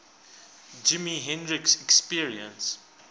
jimi hendrix experience